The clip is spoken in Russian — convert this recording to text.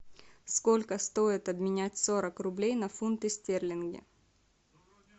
сколько стоит обменять сорок рублей на фунты стерлинги